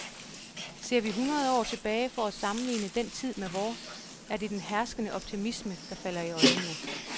Ser vi hundrede år tilbage for at sammenligne den tid med vor, er det den herskende optimisme, der falder i øjnene.